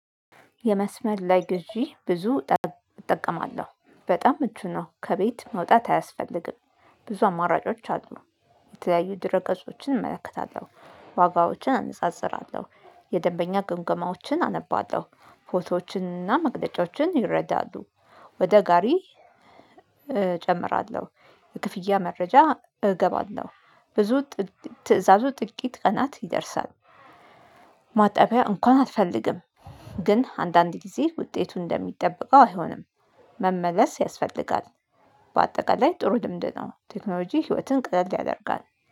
የመስመር ላይ ግዢ ብዙ እጠቀማለሁ በጣም ምቹ ነው ከቤት መውጣት አያስፈልግም። ብዙ አማራጮች አሉ። የተለያዩ ድረገጾችን እመለከታለሁ ዋጋዎችን አነጻጽራለሁ የደንበኛ ግንገማዎችን አነባለሁ ፎቶዎችንና መግለጫዎችን ይረዳሉ። ወደ ጋሪ እጨምራለሁ የክፍያ መረጃ እገባለሁ። ብዙ ትእዛዙ ጥቂት ቀናት ይደርሳል። ማጠቢያ እንኳን አትፈልግም። ግን አንዳንድ ጊዜ ውጤቱን እንደሚጠበቀው አይሆንም። መመለስ ያስፈልጋል። በአጠቃላይ ጥሩ ልምድ ነው ቴክኖሎጂ ህይወትን ቀለል ያደርጋል።